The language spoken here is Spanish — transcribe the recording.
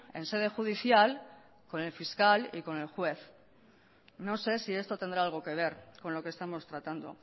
en sede judicial con el fiscal y con el juez no sé si esto tendrá algo que ver con lo que estamos tratando